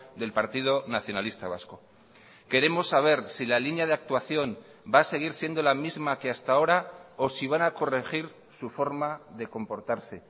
del partido nacionalista vasco queremos saber si la línea de actuación va a seguir siendo la misma que hasta ahora o si van a corregir su forma de comportarse